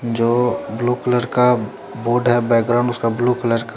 जो blue colour का board है बैकग्रॉउंड उसका ब्लू कलर का--